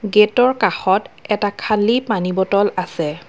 Gate ৰ কাষত এটা খালী পানী বটল আছে।